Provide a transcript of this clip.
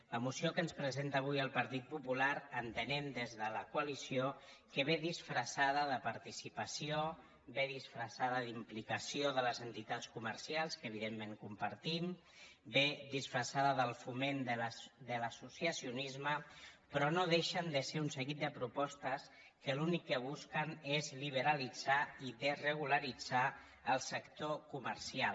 la moció que ens presenta avui el partit popular en·tenem des de la coalició que ve disfressada de par·ticipació ve disfressada d’implicació de les entitats comercials que evidentment compartim ve disfres·sada del foment de l’associacionisme però no deixen de ser un seguit de propostes que l’únic que busquen és liberalitzar i desregularitzar el sector comercial